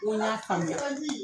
n ko n y'a faamuya